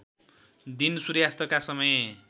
दिन सूर्यास्तका समय